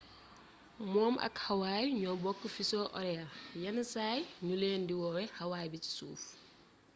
moom ak hawaï ñoo bokk fuseau horaire yenn saay ñu leen di woowe hawaii bi ci suuf